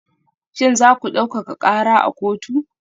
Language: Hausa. Shin za ku daukaka kara a kotu?